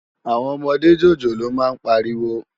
Áwòn òmòdé jójólóò má n párìwó